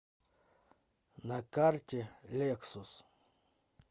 на карте лексус